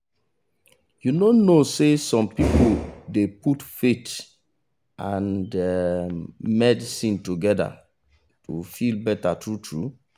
you know know say some people dey put faith and um medicine togeda to feel better true true